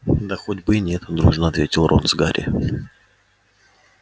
да хоть бы и нет дружно ответил рон с гарри